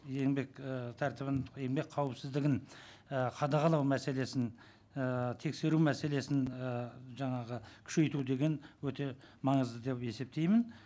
еңбек ы тәртібін еңбек қауіпсіздігін і қадағалау мәселесін і тексеру мәселесін ы жаңағы күшейту деген өте маңызды деп есептеймін